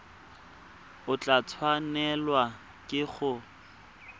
o tla tshwanelwa ke go